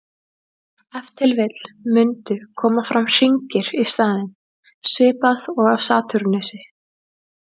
Ef til vill mundu koma fram hringir í staðinn, svipað og á Satúrnusi.